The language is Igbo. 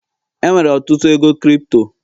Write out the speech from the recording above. enwere ọtụtụ ego Kripto